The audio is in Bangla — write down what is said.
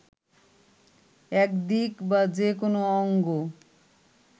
একদিক বা যেকোনো অঙ্গ